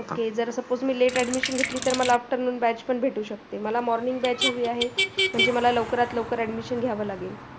हे जर suppose मी late admission घेतली तर मला afternoon batch पण भेटू शकते. मला morning batch हवी आहे म्हणजे मला लवकरात लवकर admission घ्यावं लागेल.